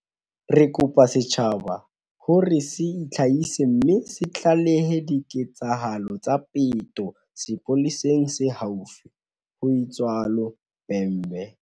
"Re kopa setjhaba ho re se itlhahise mme se tlalehe diketsahalo tsa peto sepoleseng se haufi," ho itsalo Bhembe.